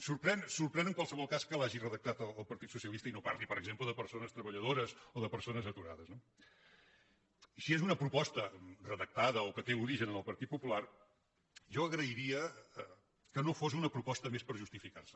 sorprèn en qualsevol cas que l’hagi redactada el partit socialista i no parli per exemple de persones treballadores o de persones aturades no si és una proposta redactada o que té origen en el partit popular jo agrairia que no fos una proposta més per justificar se